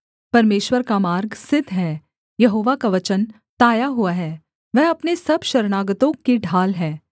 परमेश्वर का मार्ग सिद्ध है यहोवा का वचन ताया हुआ है वह अपने सब शरणागतों की ढाल है